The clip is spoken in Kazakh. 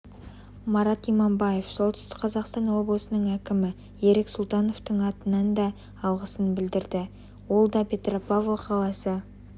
марат иманбаев солтүстік қазақстан облысының әкімі ерік сұлтановтың атынан да алғысын білдірді ол да петропавл қаласы